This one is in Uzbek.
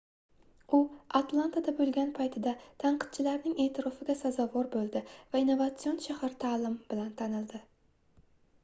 u atlantada boʻlgan paytida tanqidchilarning eʼtirofiga sazovor boʻldi va innovatsion shahar taʼlimi bilan tanildi